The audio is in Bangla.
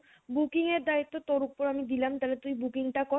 booking দায়িত্ব আমি তোর উপর দিলাম তাইলে তুই booking টা কর